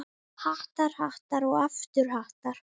Hattar, hattar og aftur hattar.